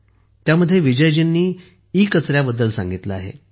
यात विजयजींनी ईकचऱ्याबद्दल सांगितले आहे